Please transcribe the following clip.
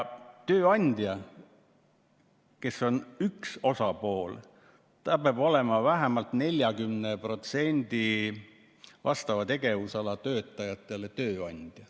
Tööandja, kes on üks osapool, peab olema tööandja vähemalt 40%‑le vastava tegevusala töötajatest.